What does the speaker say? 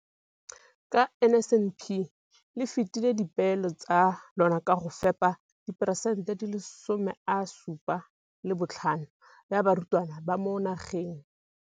ka NSNP le fetile dipeelo tsa lona tsa go fepa 75 percent ya barutwana ba mo nageng.